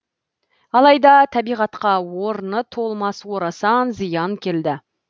алайда табиғатқа орын толмас орасан зиян келді